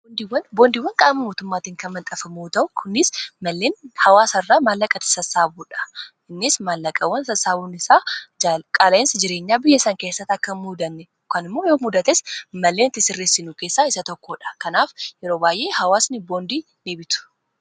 Boondiwwan qaama mootummaatiin kan maxxanfaman malleen hawaasa irraa maallaqati sassaabamuudha innis maallaqawwan sassaabuun isaa qaala'insa jireenyaa biyyasan keessatti akka hin muudanne kan immoo yoo mudates malleen itti sirrressinu keessaa isa tokkoodha kanaaf yeroo baay'ee hawaasni boondii ni bitu.